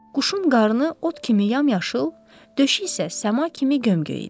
Quşun qarnı ot kimi yamyaşıl, döşü isə səma kimi göm-göy idi.